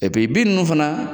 bin ninnu fana,